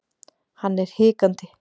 Hann er hikandi.